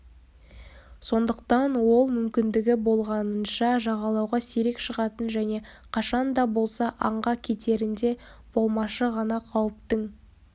сондықтан ол мүмкіндігі болғанынша жағалауға сирек шығатын және қашан да болса аңға кетерінде болмашы ғана қауіптің